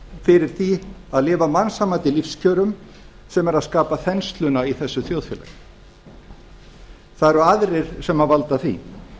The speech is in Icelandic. fyrir því að lifa á mannsæmandi lífskjörum sem er að skapa þensluna í þessu þjóðfélagi það eru aðrir sem valda því